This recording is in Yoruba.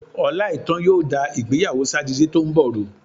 Ọláìítán yóò da ìgbéyàwó Sátidé tó ń bọ̀ rú.